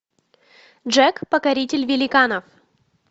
джек покоритель великанов